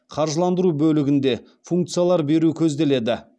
қаржыландыру бөлігінде функциялар беру көзделеді